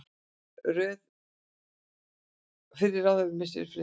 Fyrrum ráðherra missir friðhelgi